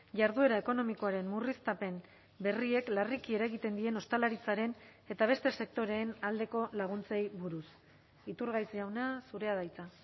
jarduera ekonomikoaren murriztapen berriek larriki eragiten dien ostalaritzaren eta beste sektoreen aldeko laguntzei buruz iturgaiz jauna zurea da hitza